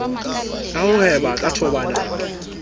ka ho hweba ka thobalano